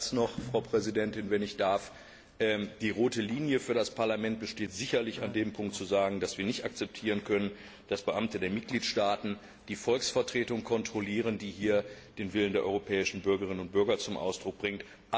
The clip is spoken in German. Ein Satz noch, Frau Präsidentin Die rote Linie für das Parlament besteht sicherlich darin, hier zu sagen, dass wir nicht akzeptieren können, dass Beamte der Mitgliedstaaten die Volksvertretung kontrollieren, die den Willen der europäischen Bürgerinnen und Bürger zum Ausdruck bringt.